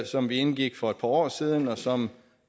som vi indgik for et par år siden og som